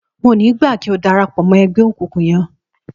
N ò ní gbà kí o darapò̩ mó̩ e̩gbé̩ òkùnkùn ye̩n!